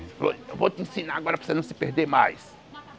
Ele falou, eu vou te ensinar agora para você não se perder mais.